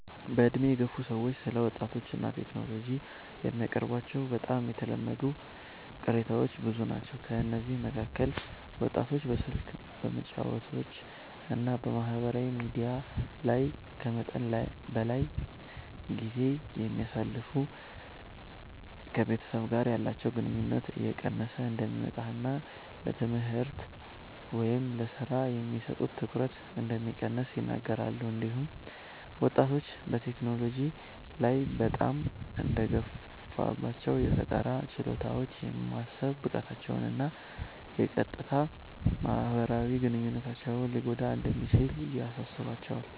በዕድሜ የገፉ ሰዎች ስለ ወጣቶች እና ቴክኖሎጂ የሚያቀርቧቸው በጣም የተለመዱ ቅሬታዎች ብዙ ናቸው። ከእነዚህ መካከል ወጣቶች በስልክ፣ በጨዋታዎች እና በማህበራዊ ሚዲያ ላይ ከመጠን በላይ ጊዜ እንደሚያሳልፉ፣ ከቤተሰብ ጋር ያላቸው ግንኙነት እየቀነሰ እንደሚመጣ እና ለትምህርት ወይም ለሥራ የሚሰጡት ትኩረት እንደሚቀንስ ይናገራሉ። እንዲሁም ወጣቶች በቴክኖሎጂ ላይ በጣም መደገፋቸው የፈጠራ ችሎታቸውን፣ የማሰብ ብቃታቸውን እና የቀጥታ ማህበራዊ ግንኙነታቸውን ሊጎዳ እንደሚችል ያሳስባቸዋል።